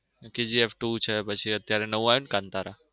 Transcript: KGF two છે પછી અત્યારે નવું આવ્યું ને કાંતારા.